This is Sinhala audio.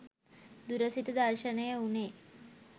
දුර සිට දර්ශනය වුණේ